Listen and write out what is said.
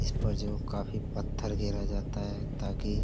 इस पर जो काफी पत्थर घेरा जाता है ताकि --